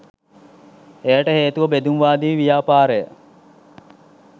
එයට හේතුව බෙදුම්වාදී ව්‍යාපාරය